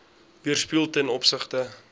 weerspieël ten opsigte